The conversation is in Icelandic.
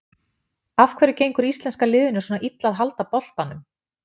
Af hverju gengur íslenska liðinu svona illa að halda boltanum?